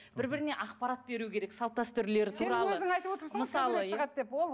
бір біріне ақпарат беруі керек салт дәстүрлері туралы